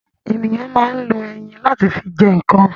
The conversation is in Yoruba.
Ènìyàn ma ń lo eyín láti fi jẹ ǹkan